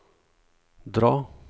dra